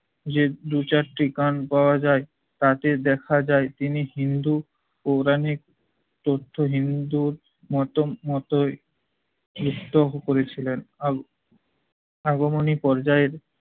যে দু'চারটি গান পাওয়া যায় তাতে দেখা যায় তিনি হিন্দু পৌরাণিক তথ্য হিন্দুর মত মতোই করেছিলেন । আগমনী পর্যায়ের